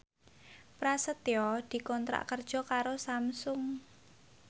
Prasetyo dikontrak kerja karo Samsung